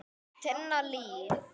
Tinna Líf.